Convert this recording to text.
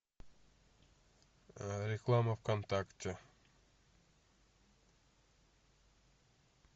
реклама в контакте